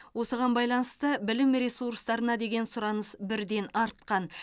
осыған байланысты білім ресурстарына деген сұраныс бірден артқан